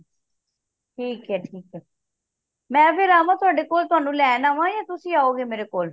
ਠੀਕ ਹੈ ਠੀਕ ਹੈ ਮੈਂ ਫੇਰ ਆਵਾ ਤੁਹਾਡੇ ਕੋਲ ਤੁਹਾਨੂੰ ਲੈਣ ਆਵਾ ਕਿ ਤੁਸੀਂ ਆਓਗੇ ਮੇਰੇ ਕੋਲ